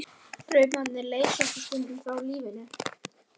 Draumarnir leysa okkur stundum frá lífinu.